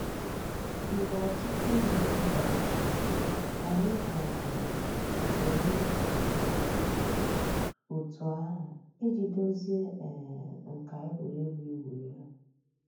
Mgbè òtùtù ǔ́mụ̀àkà bịàrùtèrè, ànyị̀ um hàzìri ńdí ọ̀tù àhụ̀ íjì dòzìe um nkà ègwè́régwụ̀ ị̀wụ̀ èlù.